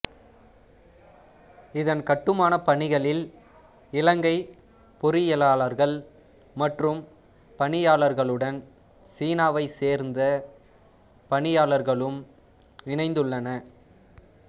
இதன் கட்டுமானப் பணிகளில் இலங்கைப் பொறியியலாளர்கள் மற்றும் பணியாளர்களுடன் சீனாவைச் சேர்ந்த பணியாளர்களும் இணைந்துள்ளனர்